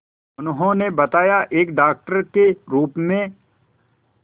उन्होंने बताया एक डॉक्टर के रूप में